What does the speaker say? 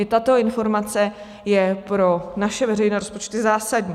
I tato informace je pro naše veřejné rozpočty zásadní.